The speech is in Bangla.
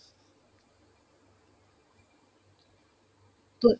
তো,